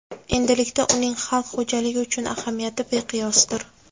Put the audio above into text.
Endilikda uning xalq xo‘jaligi uchun ahamiyati beqiyosdir.